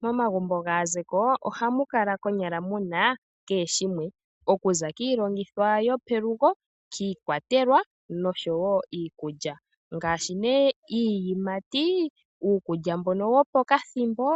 Momagumbo gaazeko ohamu kala konyala muna kehe shimwe. Okuza kiilongithomwa yopelugo, iikwatelwa osho wo iikulya ngaashi iiyimati, uukulya mbo wopokathimbo